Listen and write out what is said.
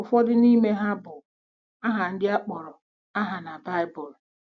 Ụfọdụ n’ime ha bu aha ndị a kpọrọ aha na Baịbụl.